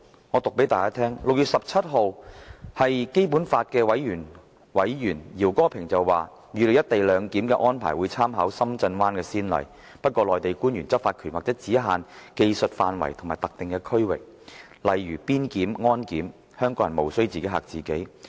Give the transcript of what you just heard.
我複述基本法委員會委員饒戈平在6月17日的說話，他當時預計"一地兩檢"安排會參考深圳灣先例，不過內地官員執法權或只限於技術範圍及特定區域，例如邊檢、安檢，香港人無須"自己嚇自己"。